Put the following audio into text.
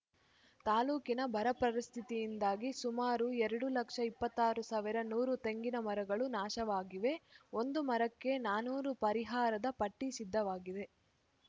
ತಾಲೂಕಿನ ಬರ ಪರಿಸ್ಥಿತಿಯಿಂದಾಗಿ ಸುಮಾರು ಎರಡು ಲಕ್ಷ ಇಪ್ಪತ್ತ್ ಸಾವಿರ ಆರು ನೂರು ತೆಂಗಿನ ಮರಗಳು ನಾಶವಾಗಿವೆ ಒಂದು ಮರಕ್ಕೆ ನಾನೂರು ಪರಿಹಾರದ ಪಟ್ಟಿಸಿದ್ದವಾಗಿದೆ